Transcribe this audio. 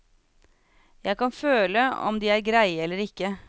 Jeg kan føle om de er greie eller ikke.